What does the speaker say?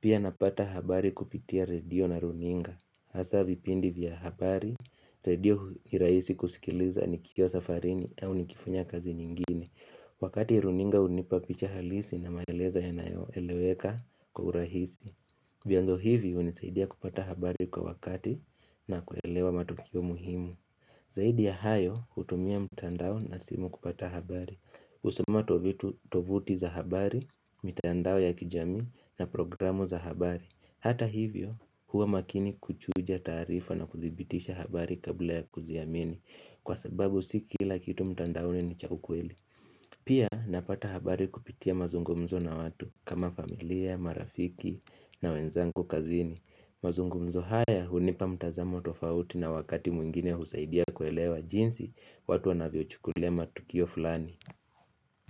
Pia napata habari kupitia redio na runinga, hasa vipindi vya habari, redio iraisi kusikiliza nikio safarini au nikifunya kazi nyingine Wakati runinga unipapicha halisi na maelezo yanayo eleweka kwa urahisi vyanzo hivi unizaidia kupata habari kwa wakati na kuelewa matokio muhimu Zaidi ya hayo utumia mtandao na simu kupata habari. Kusoma tovuti za habari, mtandao ya kijami na programu za habari. Hata hivyo huwa makini kuchuja tarifa na kuthibitisha habari kabla ya kuziamini kwa sababu sikila kitu mtandaoni ni cha ukweli. Pia napata habari kupitia mazungumzo na watu kama familia, marafiki na wenzangu kazini. Mazungumzo haya hunipa mtazamo tofauti na wakati mwingine huzaidia kuelewa jinsi watu wanavyo chukulia matukio fulani.